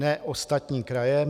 Ne ostatní kraje.